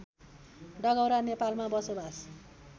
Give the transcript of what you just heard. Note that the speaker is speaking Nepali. डगौरा नेपालमा बसोबास